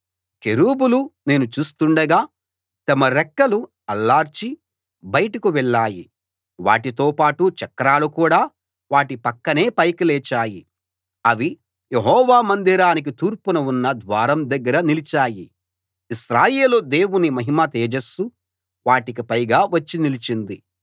కెరూబులు నేను చూస్తుండగా తమ రెక్కలు అల్లార్చి బయటకు వెళ్ళాయి వాటితో పాటు చక్రాలు కూడా వాటి పక్కనే పైకి లేచాయి అవి యెహోవా మందిరానికి తూర్పున ఉన్న ద్వారం దగ్గర నిలిచాయి ఇశ్రాయేలు దేవుని మహిమ తేజస్సు వాటికి పైగా వచ్చి నిలిచింది